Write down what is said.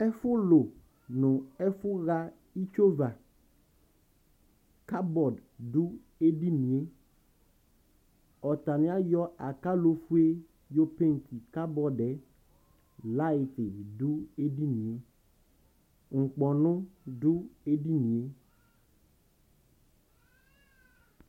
ɛfulʋ nʋ ɛfuha itsʋava NA du edinie ɔtani ayɔ akalofue yɔ NA du edinie NA du ɛdinie